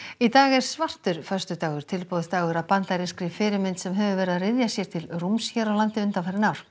í dag er svartur föstudagur tilboðsdagur að bandarískri fyrirmynd sem hefur verið að ryðja sér til rúms hér á landi undanfarin ár